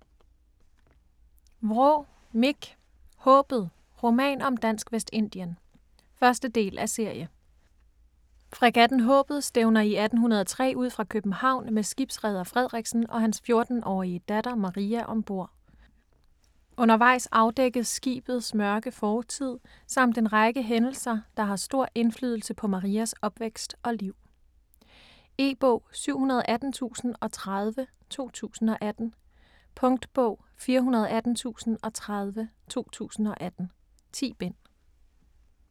Vraa, Mich: Haabet: roman om Dansk Vestindien 1. del af serie. Fregatten Haabet stævner i 1803 ud fra København med skibsreder Frederiksen og hans 14-årige datter Maria om bord. Undervejs afdækkes skibets mørke fortid, samt en række hændelser der har stor indflydelse på Marias opvækst og liv. E-bog 718030 2018. Punktbog 418030 2018. 10 bind.